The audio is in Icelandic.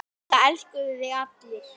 Það elskuðu þig allir.